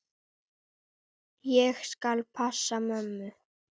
Ég skal passa mömmu.